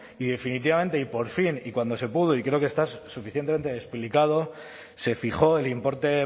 y definitivamente y por fin y cuando se pudo y creo que está suficientemente explicado se fijó el importe